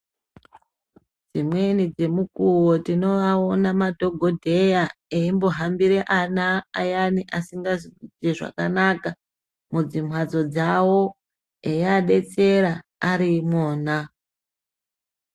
Imweni yemukuwo tinomaona madhokodheya eyimbohambira ana ayank asingazi kuite zvakanaka mudzimhatso dzavo eyiadetsera arimwona.